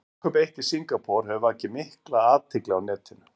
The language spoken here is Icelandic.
Brúðkaup eitt í Singapúr hefur vakið mikla athygli á netinu.